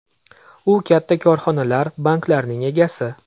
U katta korxonalar, banklarning egasi.